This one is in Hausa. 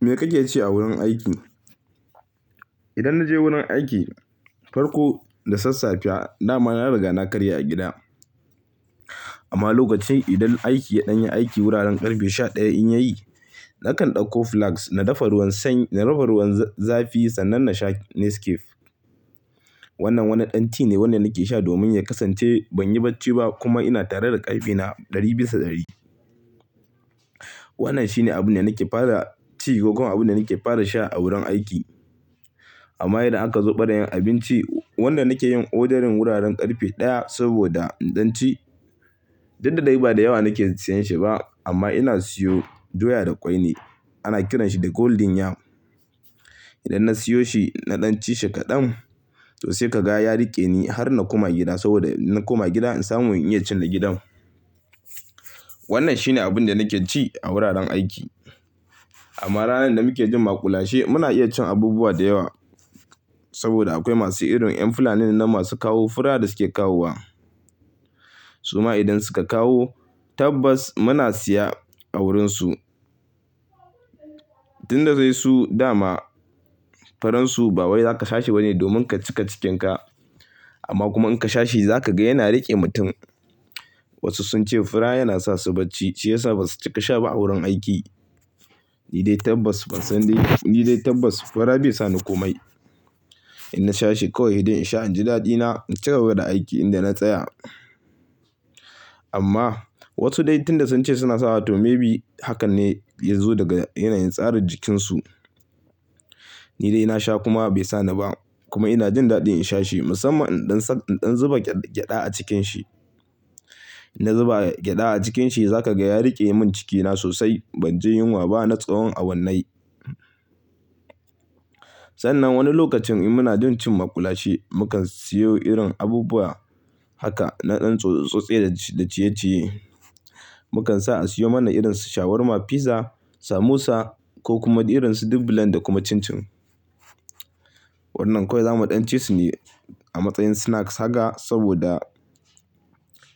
Me kake ci a wurin aiki? Idan na je wurin aiki, farko da sassafe, dama na riga na karya a gida. Amma lokacin idan aiki ya ɗan yi aiki, wuraren ƙarfe sha ɗaya in yayi, nakan ɗauko flags na dafa ruwan zafi, sannan na sha Nescafe. Wannan wani ɗan ti ne wanda nake sha domin ya kasance ban yi bacci ba, kuma ina tare da ƙarfi na ɗari bisa ɗari. Wannan shi ne abun da nake fara ci, ko kuma abun da nake fara sha, a wurin aiki. Amma idan aka zo ɓarayen abinci, wanda nake yin odarin wuraren ƙarfe ɗaya saboda in ɗan ci. Duk da dai ba da yawa nake sayan shi ba, amma ina siyo doya da ƙwai ne. Ana kiranshi da Golden Yam. Idan na siyo shi, na ɗan ci shi kaɗan, to sai ka ga ya riƙe ni har na koma gida, saboda inna koma gida, in samu in iya cin na gidan. Wannan shi ne abin da nake ci, a wuraren aiki. Amma ranar da muke jin mu kula she, muna iya cin abubuwa da yawa saboda akwai masu irin ƴan fulani nan masu kawo fura, da suke kawowa. Suma idan suka kawo, tabbas muna siya a wurin su. Tin da zai su, dama, faransu ba wai zaka sha shi bane domin ka cika cikinka. Amma kuma in ka sha shi, za ka ga yana riƙe mutum. Wasu sun ce fura yana sa su bacci, shi ya sa basu cika sha ba a wurin aiki. Ni dai tabbas fura bai sa ni komai. In na sha shi kawai idan in sha, in ji daɗina, in cika bada aiki inda na tsaya. Amma wasu dai, tun da sun ce suna sawa to maybe hakan ne ya zo daga yanayin tsarin jikinsu. Ni dai ina sha kuma bai sa ni ba, kuma ina jin daɗin in sha shi, musamman idan zuba gyaɗa a cikin shi. In na zuba gyaɗa a cikin shi, za ka ga ya riƙe min cikina sosai. Ban ji yunwa ba, na tsawon awannai. Sannan wani lokacin mu na jin cin maƙulashe, mu kan siyo irin abubuwa haka na ɗan tsotse-tsotse da ciye-ciye. Mu kan sa a siyo mana irin su shawarma, pizza, samosa ko kuma irin su dubulan da kuma cin-cin. Wannan kawai za mu ɗan ci su ne, a matsayin snacks haka, saboda